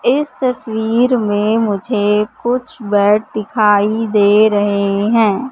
इस तस्वीर में मुझे कुछ बेड दिखाई दे रहे हैं।